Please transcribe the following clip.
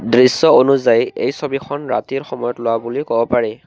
দৃশ্য অনুযায়ী এই ছবিখন ৰাতিৰ সময়ত লোৱা বুলি ক'ব পাৰি।